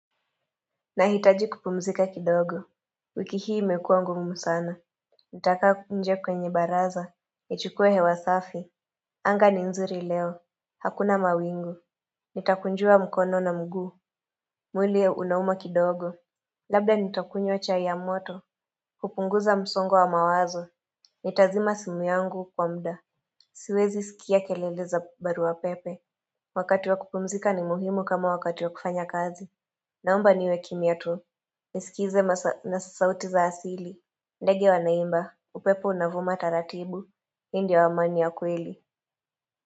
Nahitaji kupumzika kidogo wiki hii imekua ngumu sana Nitakaa huku nje kwenye baraza nichukue hewa safi anga ni nzuri leo Hakuna mawingu Nitakunjua mkono na mguu mwili unauma kidogo Labda nitakunywa chai ya moto kupunguza msongo wa mawazo Nitazima simu yangu kwa mda Siwezi sikia kelele za baru pepe Wakati wa kupumzika ni muhimu kama wakati wa kufanya kazi Naomba niwe kimya tu nisikize sauti za asili ndege wanaimba upepo unavuma taratibu hii ndiyo amani ya kweli.